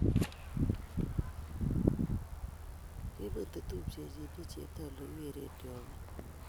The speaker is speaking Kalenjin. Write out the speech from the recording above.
kiimut tupchenyu ne chepto ole kigeeren chong'ik